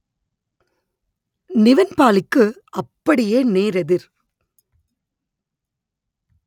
நிவின் பாலிக்கு அப்படியே நேரெதிர்